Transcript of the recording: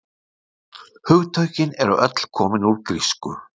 Hugtökin eru öll komin úr grísku.